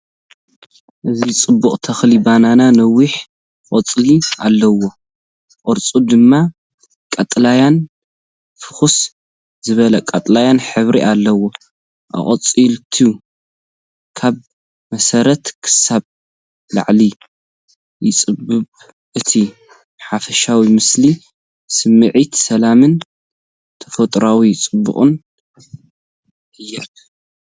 እዚ ፅቡቕ ተኽሊ ባናና ነዊሕ ቆጽሊ ኣለዎ፣ ቅርጺ ድማ ቀጠልያን ፍኹስ ዝበለ ቀጠልያን ሕብሪ ኣለዎ። ኣቝጽልቱ ካብ መሰረት ክሳብ ላዕሊ ይጸብብ። እቲ ሓፈሻዊ ምስሊ ስምዒት ሰላምን ተፈጥሮኣዊ ጽባቐን ይህብ።